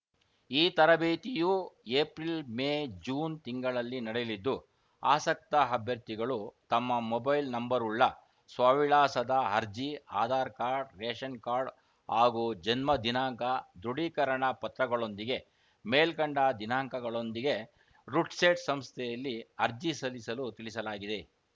ಈ ತರಬೇತಿಯೂ April May June ತಿಂಗಳಲ್ಲಿ ನಡೆಯಲಿದ್ದು ಆಸಕ್ತ ಅಭ್ಯರ್ಥಿಗಳು ತಮ್ಮ ಮೊಬೈಲ್‌ ನಂಬರ್‌ವುಳ್ಳ ಸ್ವವಿಳಾಸದ ಅರ್ಜಿ ಆಧಾರ್‌ಕಾರ್ಡ್‌ ರೇಷನ್‌ಕಾರ್ಡ್‌ ಹಾಗೂ ಜನ್ಮದಿನಾಂಕ ದೃಢೀಕರಣ ಪತ್ರಗಳೊಂದಿಗೆ ಮೇಲ್ಕಂಡ ದಿನಾಂಕಗಳೊಂದಿಗೆ ರುಡ್‌ಸೆಟ್‌ ಸಂಸ್ಥೆಯಲ್ಲಿ ಅರ್ಜಿ ಸಲ್ಲಿಸಲು ತಿಳಿಸಲಾಗಿದೆ